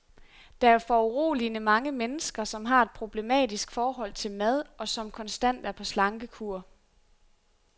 Der er foruroligende mange mennesker, som har et problematisk forhold til mad, og som konstant er på slankekur.